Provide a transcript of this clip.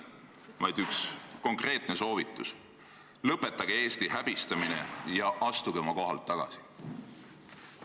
Küll aga on mul teile üks konkreetne soovitus: lõpetage Eesti häbistamine ja astuge oma kohalt tagasi!